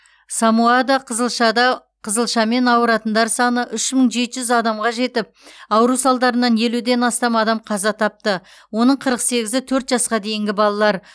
самоада қызылшада қызылшамен ауыратындар саны үш мың жеті жүз адамға жетіп ауру салдарынан елуден астам адам қаза тапты оның қырық сегізі төрт жасқа дейінгі балалар